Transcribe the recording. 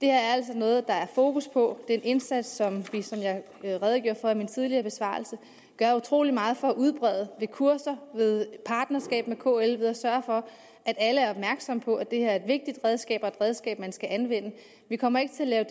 er altså noget der er fokus på det er en indsats som vi som jeg jeg redegjorde for i min tidligere besvarelse gør utrolig meget for at udbrede ved kurser ved partnerskab med kl ved at sørge for at alle er opmærksomme på at det her er et vigtigt redskab og et redskab man skal anvende vi kommer ikke til at